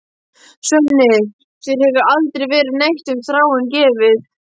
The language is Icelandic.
Svenni, þér hefur aldrei verið neitt um Þráin gefið.